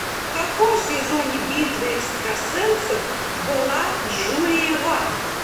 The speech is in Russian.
в каком сезоне битвы экстрасенсов была джулия ванг